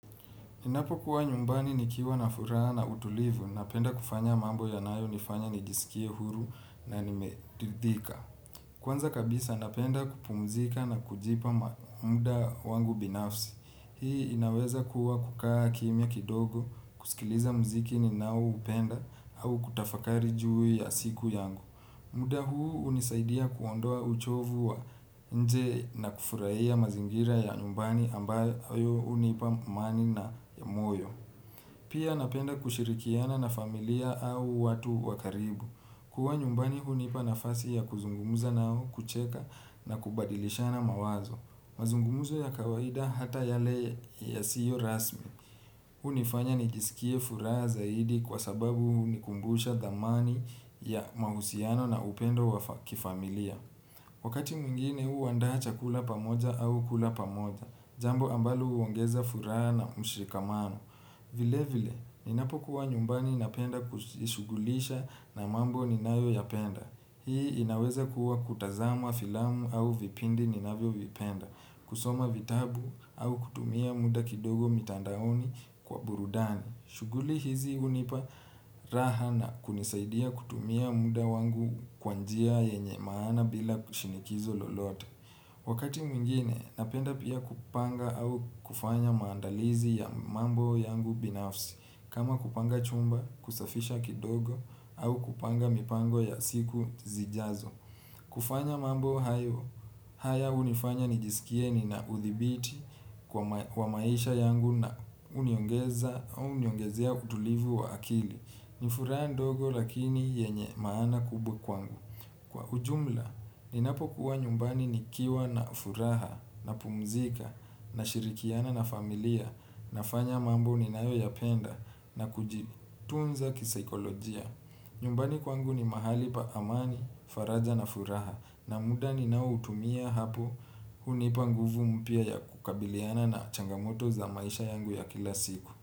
Ninapo kuwa nyumbani nikiwa na furaha na utulivu, napenda kufanya mambo yanayo nifanya nijisikie huru na nimeridhika. Kwanza kabisa napenda kupumzika na kujipa muda wangu binafsi. Hii inaweza kuwa kukaa kimya kidogo, kusikiliza muziki ninao upenda au kutafakari juu ya siku yangu. Muda huu unisaidia kuondoa uchovu wa nje na kufurahia mazingira ya nyumbani ambayo hunipa amani na ya moyo. Pia napenda kushirikiana na familia au watu wakaribu. Kuwa nyumbani mazungumzo ya kawaida hata yale yasio rasmi. Hunifanya nijisikie furaha zaidi kwa sababu hunikumbusha thamani ya mahusiano na upendo wa kifamilia. Wakati mwingine huandaa chakula pamoja au kula pamoja. Jambo ambalo huongeza furaha na mshikamano. Vile vile, ninapo kuwa nyumbani napenda kushughulisha na mambo ninayo ya penda. Hii inaweza kuwa kutazama filamu au vipindi ninavyo vipenda. Kusoma vitabu au kutumia muda kidogo mitandaoni kwa burudani shughuli hizi hunipa raha na kunisaidia kutumia muda wangu kwa njia yenye maana bila kushinikizo lolote. Wakati mwingine napenda pia kupanga au kufanya maandalizi ya mambo yangu binafsi. Kama kupanga chumba, kusafisha kidogo au kupanga mipango ya siku zijazo. Kufanya mambo haya hunifanya nijisikie ni na uthibiti kwa maisha yangu na uniongezea utulivu wa akili. Nifuraha ndogo lakini yenye maana kubwa kwangu. Kwa ujumla, ninapo kuwa nyumbani nikiwa na furaha napumzika nashirikiana na familia nafanya mambo ninayo yapenda na kujitunza kisaikolojia. Nyumbani kwangu ni mahali pa amani, faraja na furaha. Na muda ninao utumia hapo hunipa nguvu mpya ya kukabiliana na changamoto za maisha yangu ya kila siku.